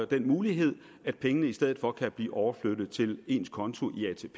den mulighed at pengene i stedet for kan blive overflyttet til ens konto